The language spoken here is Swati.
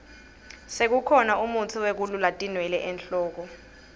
sekukhona mutsi wekulula tinwele enhloko